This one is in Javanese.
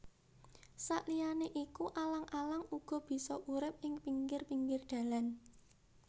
Saliyané iku Alang alang uga bisa urip ing pinggir pinggir dalan